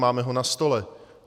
Máme ho na stole.